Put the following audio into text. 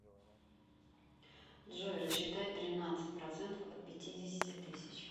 джой рассчитай тринадцать процентов от пятидесяти тысяч